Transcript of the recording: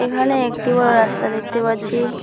এখানে একটি বড় রাস্তা দেখতে পাচ্ছি।